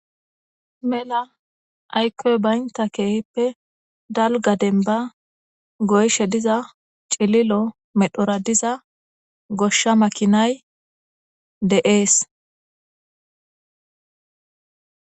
Mela aykkoy baynta keehippe dalga denba goyshe diza cililo medhora diza goshsha makinay deees